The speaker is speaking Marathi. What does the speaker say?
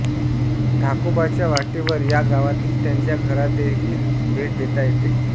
ढाकोबाच्या वाटेवर या गावातील त्याच्या घरालादेखील भेट देता येते